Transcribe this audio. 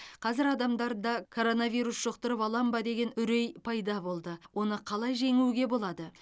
қазір адамдарда коронавирус жұқтырып алам ба деген үрей пайда болды оны қалай жеңуге болады